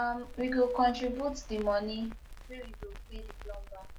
um we go contribute di moni wey we go pay di plumber